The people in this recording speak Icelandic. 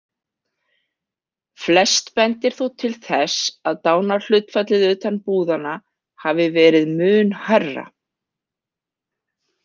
Flest bendir þó til þess að dánarhlutfallið utan búðanna hafi verið mun hærra.